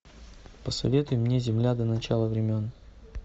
посоветуй мне земля до начала времен